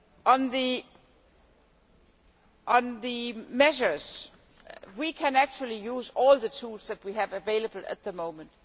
On the measures we can actually use all the tools that we have available at the moment.